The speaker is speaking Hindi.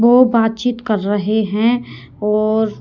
वो बातचीत कर रहे हैं और--